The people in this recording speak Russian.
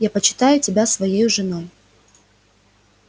я почитаю тебя своею женой